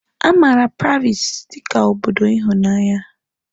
A maara Paris dị ka obodo ịhụnanya.